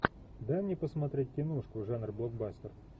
дай мне посмотреть киношку жанр блокбастер